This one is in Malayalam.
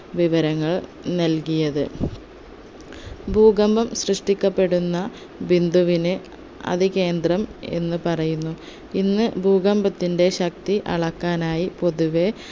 വിവരങ്ങൾ നൽകിയത് ഭൂകമ്പം സൃഷ്ടിക്കപ്പെടുന്ന ബിന്ദുവിനെ അതികേന്ദ്രം എന്ന് പറയുന്നു ഇന്ന് ഭൂകമ്പത്തിൻറെ ശക്തി അളക്കാനായി പൊതുവെ